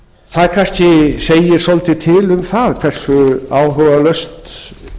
það kannski segir svolítið til um það hversu áhugalaust